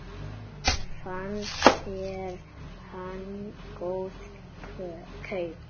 Fannst þér hann góð kaup?